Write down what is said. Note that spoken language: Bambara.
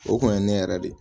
O kun ye ne yɛrɛ de ye